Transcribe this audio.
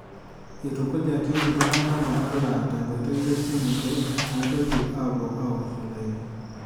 Eitukujaki iltung'ana metalaa tenkoitoi esimu pee meitoki aapuo aiwosh olaini.